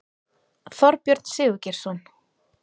Þorbjörn Sigurgeirsson